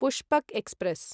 Pushpak express